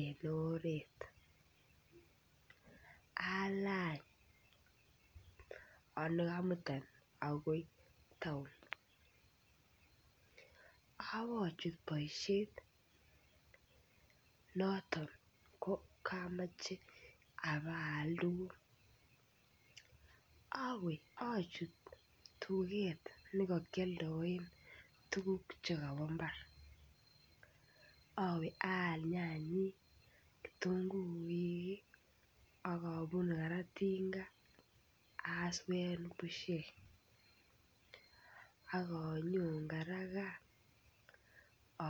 en oret, alany olei komutan akoi town obochut boishet noton ko komoche abaak tukuk, iwee ochut tuket nekokioldoen tukuk chombo imbar. Iwee aal nyanyik kitunguik ak obunu koraa tinga answer bushek ak onyon koraa gaa